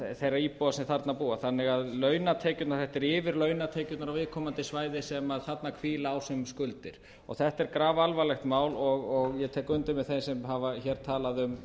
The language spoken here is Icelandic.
þeirra íbúa sem þarna búa þannig að launatekjurnar þetta eru yfir launatekjurnar á viðkomandi svæði sem þarna hvíla á sem skuldir þetta er grafalvarlegt mál og ég tek undir með þeim sem hafa hér talað um